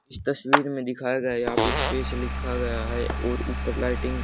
इस तस्वीर में दिखाया गया यहा पे स्पेश लिखा गया है और ऊपर लाइटिंग --